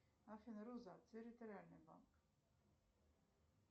афина роза территориальный банк